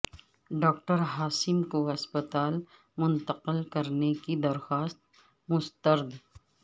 doctor Asim کو ہسپتال منتقل کرنے کی درخواست مسترد